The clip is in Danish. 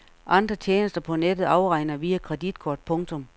Andre tjenester på nettet afregner via kreditkort. punktum